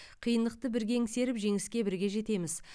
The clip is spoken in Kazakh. қиындықты бірге еңсеріп жеңіске бірге жетеміз